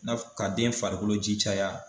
N'a fu k'a den farikolo ji caya.